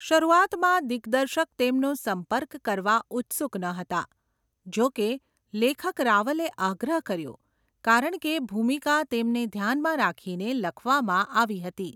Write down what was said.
શરૂઆતમાં દિગ્દર્શક તેમનો સંપર્ક કરવા ઉત્સુક ન હતા. જો કે, લેખક રાવલે આગ્રહ કર્યો કારણ કે ભૂમિકા તેમને ધ્યાનમાં રાખીને લખવામાં આવી હતી.